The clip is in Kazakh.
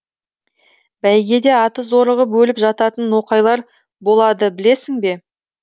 бәйгеде аты зорығып өліп жататын ноқайлар болады білесің бе